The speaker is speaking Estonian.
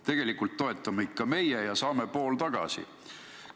Tegelikult toetame ikka meie ja saame pool tagasi.